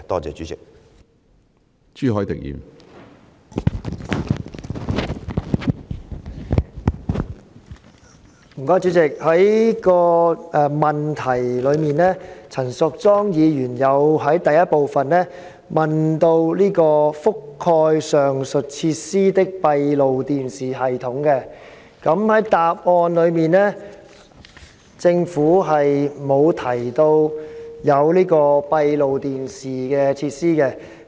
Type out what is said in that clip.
陳淑莊議員在主體質詢的第一部分問及"覆蓋上述設施的閉路電視系統"，但政府在主體答覆卻沒有提到有閉路電視設施。